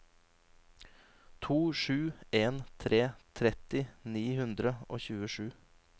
to sju en tre tretti ni hundre og tjuesju